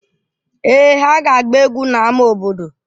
Èè, ha ga-agba egwu n'ámá obodo.